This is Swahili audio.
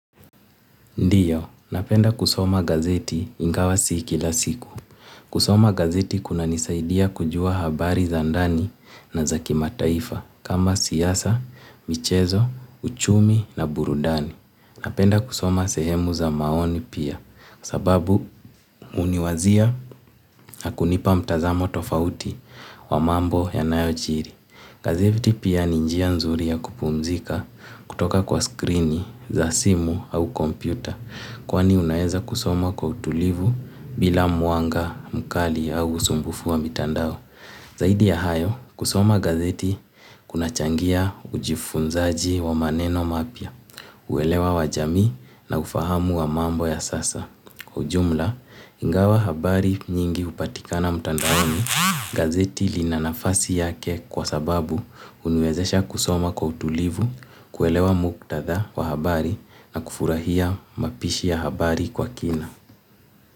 Ndio, napenda kusoma gazeti ingawa si kila siku. Kusoma gazeti kunanisaidia kujua habari za ndani na za kimataifa kama siasa, michezo, uchumi na burudani. Napenda kusoma sehemu za maoni pia kwa sababu huniwazia na kunipa mtazamo tofauti wa mambo yanayojiri. Gazeti pia ni njia nzuri ya kupumzika kutoka kwa skrini za simu au kompyuta. Kwani unaweza kusoma kwa utulivu bila mwanga, mkali au usumbufu wa mitandao. Zaidi ya hayo, kusoma gazeti kunachangia ujifunzaji wa maneno mapya. Uelewa wa jamii na ufahamu wa mambo ya sasa. Kwa jumla, ingawa habari nyingi hupatikana mtandaoni gazeti lina nafasi yake kwa sababu huniwezesha kusoma kwa utulivu, kuelewa muktadha wa habari na kufurahia mapishi ya habari kwa kina.